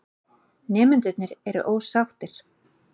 Nemendur eru ósáttir.